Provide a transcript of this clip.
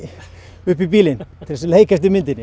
upp í bílinn til þess að leika eftir myndinni